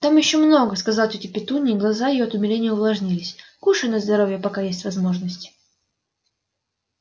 там ещё много сказала тётя петунья и глаза её от умиления увлажнились кушай на здоровье пока есть возможность